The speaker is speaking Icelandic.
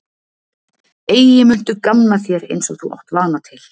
Eigi muntu gamna þér eins og þú átt vana til.